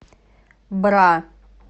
бра